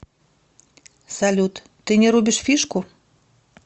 салют ты не рубишь фишку